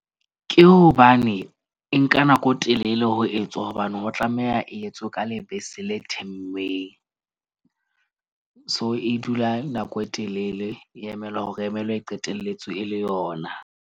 Ke hobane e nka nako e telele ho etswa hobane ho tlameha e etswe ka lebese le themmeng. So, e dula nako e telele e emelwe hore e emelwe, e qetelletse e le yona.